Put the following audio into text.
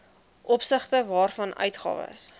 opsigte waarvan uitgawes